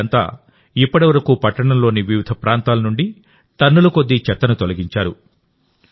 వీళ్ళంతా ఇప్పటివరకు పట్టణంలోని వివిధ ప్రాంతాల నుండి టన్నుల కొద్దీ చెత్తను తొలగించారు